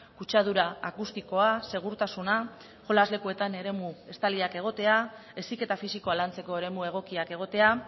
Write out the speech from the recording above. kutsadura akustikoa segurtasuna jolas lekuetan eremu estaliak egotea heziketa fisikoa lantzeko eremu egokiak egotea